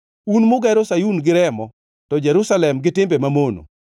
un mugero Sayun gi remo, to Jerusalem gi timbe mamono.